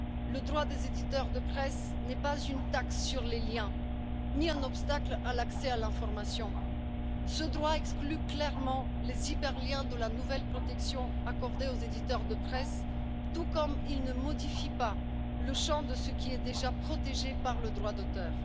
Le droit des éditeurs de presse n'est pas une taxe sur les liens, ni un obstacle à l'accès à l'information. Ce droit exclut clairement les hyperliens de la nouvelle protection accordée aux éditeurs de presse, tout comme il ne modifie pas le champ de ce qui est déjà protégé par le droit d'auteur.